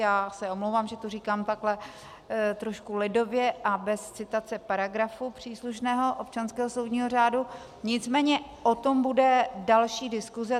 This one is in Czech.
Já se omlouvám, že to říkám takhle trošku lidově a bez citace paragrafů příslušného občanského soudního řádu, nicméně o tom bude další diskuse.